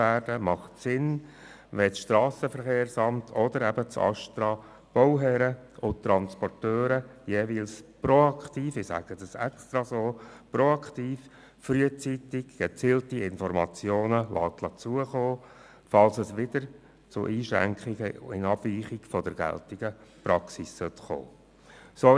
Es macht Sinn, wenn das SVSA oder das ASTRA den Bauherren jeweils proaktiv – ich sage das absichtlich so – frühzeitig Informationen zukommen lassen, falls es wieder zu Abweichungen von der geltenden Praxis kommen sollte.